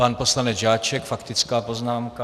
Pan poslanec Žáček, faktická poznámka.